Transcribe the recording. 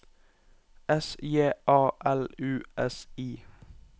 S J A L U S I